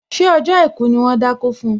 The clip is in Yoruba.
Ṣé ọjọ́ àìkú ni wón dákó fun?